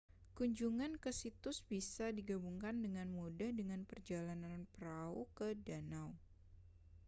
kunjungan ke situs bisa digabungkan dengan mudah dengan perjalanan perahu ke danau